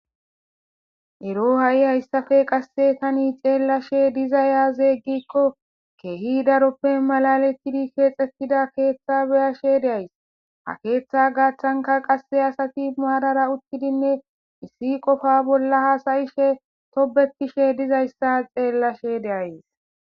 Ero ha7i hayssafe qasse tani xeellashe diza yaazeeggikko keehi daroppe malalettidi keexxettida keeththa beyashe deays ha keeththa gaaththanka qasse asati maadara uttidinne issi qofa bolla hasayishe tobetishe dizayssa xeellashe deays